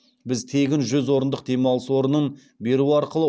біз тегін жүз орындық демалыс орнын беру арқылы